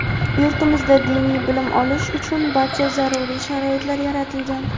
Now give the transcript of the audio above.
Yurtimizda diniy bilim olish uchun barcha zaruriy sharoitlar yaratilgan.